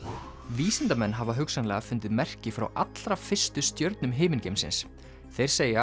vísindamenn hafa hugsanlega fundið merki frá allra fyrstu stjörnum himingeimsins þeir segja